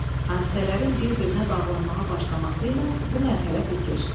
Hadisələrin bir-birinə bağlanmağa başlaması ilə bu mərhələ bitir.